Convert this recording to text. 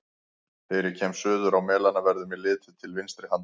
Þegar ég kem suður á Melana, verður mér litið til vinstri handar.